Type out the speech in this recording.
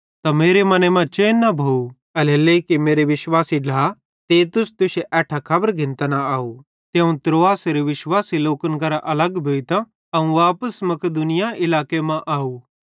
त मेरे मने मां चैन न भोइ एल्हेरेलेइ कि मेरे विश्वासी ढ्ला तीतुसे तुश्शे एट्ठां कोई खबर घिन्तां न आव ते अवं त्रोआसेरे विश्वासी लोकन करां अलग भोइतां अवं वापस मकिदुनिया इलाके मां आव